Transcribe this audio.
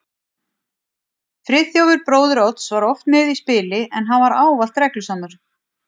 Friðþjófur bróðir Odds var oft með í spili, en hann var ávallt reglusamur.